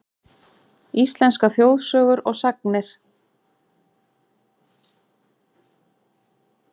Íslenskar þjóðsögur og sagnir.